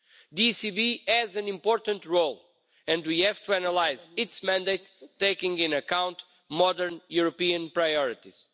The ECB has an important role and we have to analyse its mandate, taking into account modern European priorities.